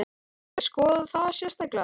Þarf ekki að skoða það sérstaklega?